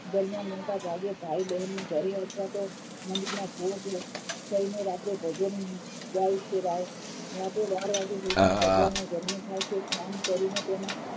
ભાઈ બહેન ના ઘરે અથવા તો મંદિરના ભોજ થઈને રાત્રે ભજન ગાય છે મોડે બાર વાગે કૃષ્ણ ભગવાનનો જન્મ થાય છે સ્નાન કરીને તેના